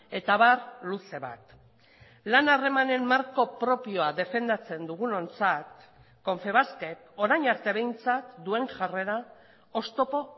eta abar luze bat lan harremanen marko propioa defendatzen dugunontzat confebaskek orain arte behintzat duen jarrera oztopo